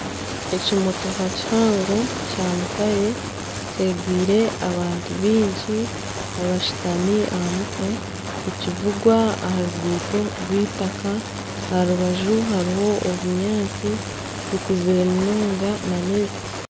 Ekimotooka kihango kya mutare kyegwire abantu baingi abashutami aha mutwe nikivugwa aha ruguuto rw'eitaaka aha rubaju hariho obunyaatsi bukuzire munonga na n'ebiti.